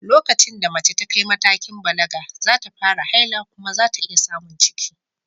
Lokacin da mace ta kai matakin balaga, za ta fara haila kuma za ta iya samun ciki.